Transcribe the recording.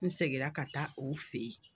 N seginna ka taa o fɛ ye.